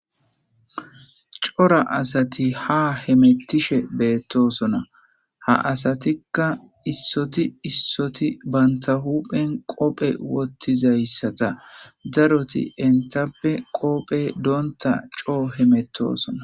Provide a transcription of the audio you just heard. cora asati ha hemettishe beettosona ha asatikka issoti issoti banta huphen qophe wottizayssata daroti entappe qoophe doonta coo hemettosona